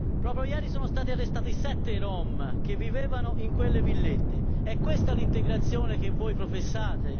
Proprio ieri sono stati arrestati sette Rom che vivevano in quelle villette, è questa l'integrazione che voi professate?